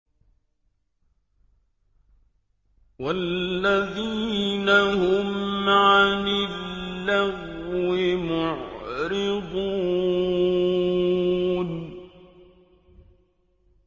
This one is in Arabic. وَالَّذِينَ هُمْ عَنِ اللَّغْوِ مُعْرِضُونَ